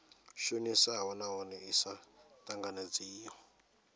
shonisaho nahone i sa tanganedzeiho